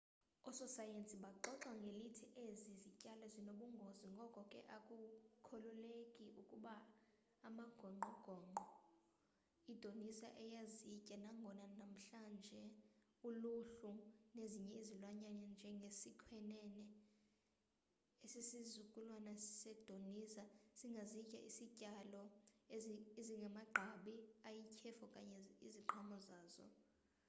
ososayensi baxoxa ngelithi ezi zityalo zinobungozi ngoko ke akukholeleki ukuba amagongqongqo idinosa ayezitya nangona namhlanje uluhlu nezinye izilwanyana njenge sikhwenene esisizukulwana se dinoza singazitya izityalo ezimagqabi ayityhefu okanye iziqhamo zazo